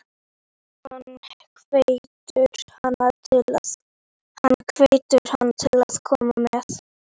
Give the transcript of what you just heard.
Hann hvetur hana til að koma með.